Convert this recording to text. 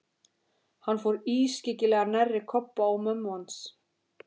Hann fór ískyggilega nærri Kobba og mömmu hans.